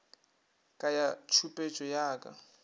ka ya tšhupetšo ya ka